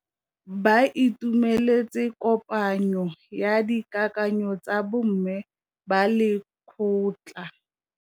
Ba itumeletse kôpanyo ya dikakanyô tsa bo mme ba lekgotla.